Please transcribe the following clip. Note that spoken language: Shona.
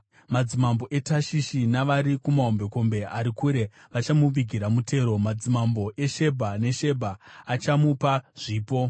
Madzimambo eTashishi navari kumahombekombe ari kure vachamuvigira mutero; madzimambo eShebha neSebha vachamupa zvipo.